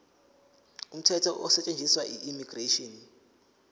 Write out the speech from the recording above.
umthetho osetshenziswayo immigration